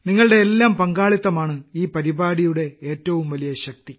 നിങ്ങളുടെ എല്ലാം പങ്കാളിത്തമാണ് ഈ പരിപാടിയുടെ ഏറ്റവും വലിയ ശക്തി